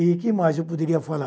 E o que mais eu poderia falar?